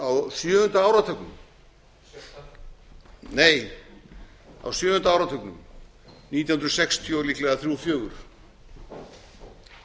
á sjöunda áratugnum sjötta nei á sjöunda áratugnum nítján hundruð sextíu líklega nítján hundruð sextíu og þrjú nítján hundruð sextíu